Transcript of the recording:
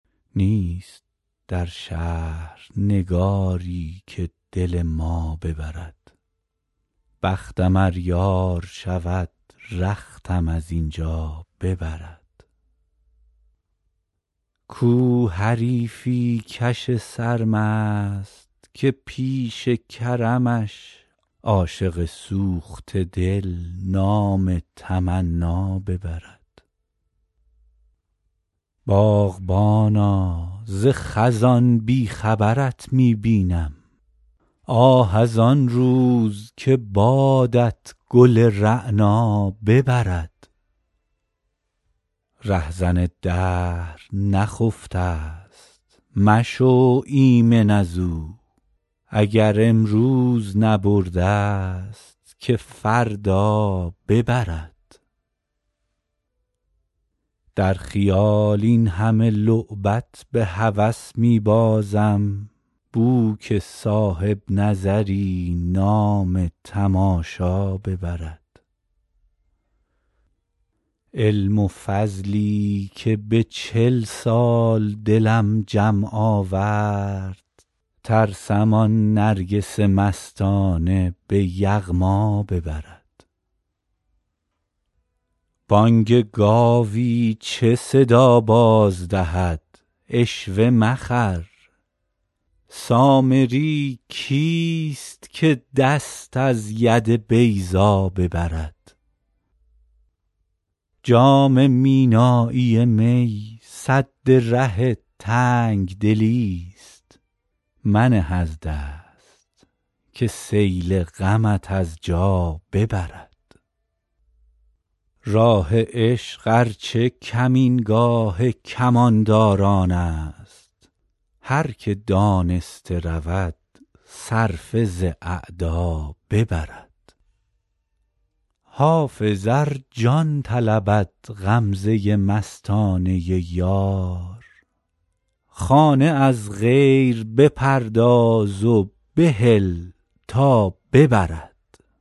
نیست در شهر نگاری که دل ما ببرد بختم ار یار شود رختم از این جا ببرد کو حریفی کش سرمست که پیش کرمش عاشق سوخته دل نام تمنا ببرد باغبانا ز خزان بی خبرت می بینم آه از آن روز که بادت گل رعنا ببرد رهزن دهر نخفته ست مشو ایمن از او اگر امروز نبرده ست که فردا ببرد در خیال این همه لعبت به هوس می بازم بو که صاحب نظری نام تماشا ببرد علم و فضلی که به چل سال دلم جمع آورد ترسم آن نرگس مستانه به یغما ببرد بانگ گاوی چه صدا باز دهد عشوه مخر سامری کیست که دست از ید بیضا ببرد جام مینایی می سد ره تنگ دلی ست منه از دست که سیل غمت از جا ببرد راه عشق ار چه کمینگاه کمانداران است هر که دانسته رود صرفه ز اعدا ببرد حافظ ار جان طلبد غمزه مستانه یار خانه از غیر بپرداز و بهل تا ببرد